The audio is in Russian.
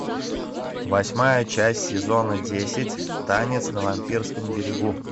восьмая часть сезона десять танец на вампирском берегу